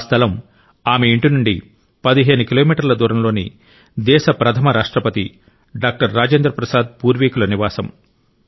ఆ స్థలం ఆమె ఇంటి నుండి 15 కిలోమీటర్ల దూరంలోని దేశ ప్రథమ రాష్ట్రపతి డాక్టర్ రాజేంద్ర ప్రసాద్ పూర్వికుల నివాసం